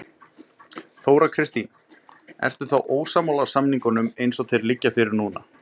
Þóra Kristín: Ertu þá ósammála samningunum eins og þeir liggja fyrir núna?